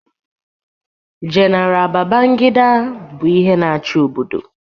Jenara Bagangida bụ ihe na-achị obodo.